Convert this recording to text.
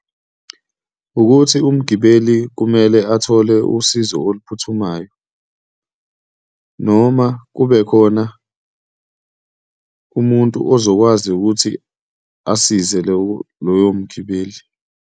Ukuthi umgibeli kumele athole usizo oluphuthumayo noma kubekhona umuntu ozokwazi ukuthi asize loyo mgibeli.